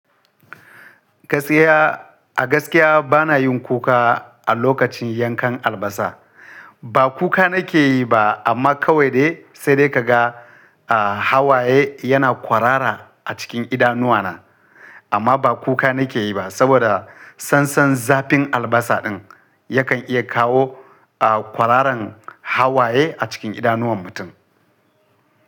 Gaskiya a gaskiya bana yin kuka a lokacin yankan albasa. Ba kuka nake yi ba amma kawai dai sai dai kaga, hawaye yana kwarara a cikin idanuwana. Amma ba kuka nake yi ba saboda sansan zafin albasa ɗin yakan iya kawo, kwararan hawaye a cikin idanuwan mutum.